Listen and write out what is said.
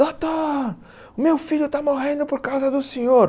Doutor, o meu filho está morrendo por causa do senhor.